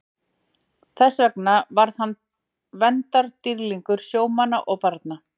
Þess vegna varð hann verndardýrlingur sjómanna og barna.